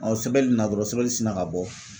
sɛbɛli in na dɔrɔn sɛbɛli sina ka bɔ.